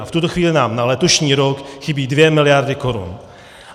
A v tuto chvíli nám na letošní rok chybí 2 miliardy korun.